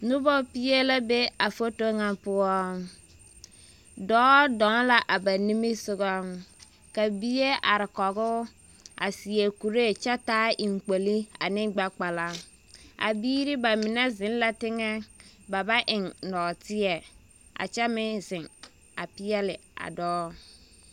Noba pie la be a foto ŋa poɔ. Dɔɔ dɔɔ la a ba nimmisogɔŋ, ka bie are kɔgoo, a seɛ kuree, kyɛ taa eŋkpoli ane gbɛ kpala. A biiri, ba mine zeŋ la teŋɛ, ba ba eŋ nɔɔteɛ, a kyɛ meŋ zeŋ, a peɛle a dɔɔ.